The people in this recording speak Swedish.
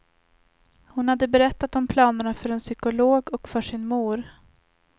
Hon hade berättat om planerna för en psykolog och för sin mor.